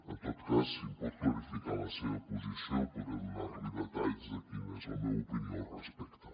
en tot cas si es pot clarificar la seva posició podré donar li detalls de quina és la meva opinió al respecte